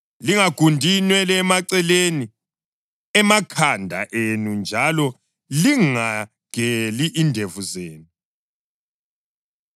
Lingagundi inwele emaceleni amakhanda enu njalo lingageli indevu zenu.